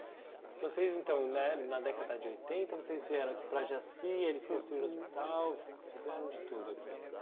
Então, vocês, então né, na década de oitenta, vocês vieram aqui para Jaci, eles construíram o hospital, fizeram de tudo aqui.